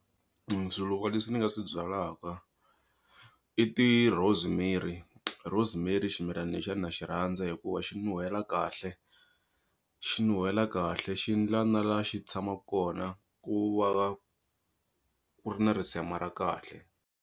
Swiluva leswi ni nga swi byalaka i ti-Rosemary, rosemary ximilani lexiya na xi rhandza hikuva xi nuhela kahle xi nuhela kahle xi ndla na la xi tshamaku kona ku va ku ri na risema ra kahle.